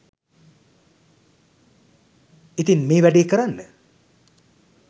ඉතින් මේ වැඩේ කරන්න